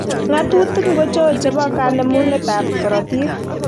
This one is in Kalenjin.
Ngatutik ngocho che bo kanemunetab korotk.